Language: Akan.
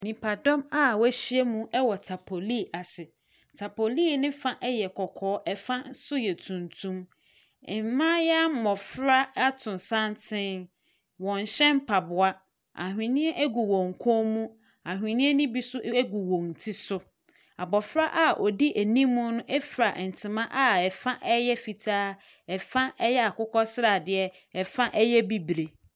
Nipadɔm a wɔahyiam wɔ tapoline ase. Tapoline no da yɛ kɔkɔɔ, fa nso yɛ tuntum. Mmaayewa mmɔfra ato santene. Wɔnhyɛ mpaboa. Ahweneɛ gu wɔn kɔn mu. Ahweneɛ no bi nso gu wɔn ti so. Abɔfra a ɔdi anim no fira ntoma a ɛfa yɛ fitaa, ɛfa yɛ akokɔsradeɛ, ɛfa yɛ bibire.